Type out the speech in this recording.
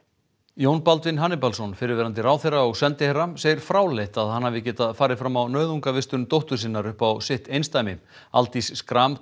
Jón Baldvin Hannibalsson fyrrverandi ráðherra og sendiherra segir fráleitt að hann hafi getað farið fram á nauðungarvistun dóttur sinnar upp á sitt eindæmi Aldís Schram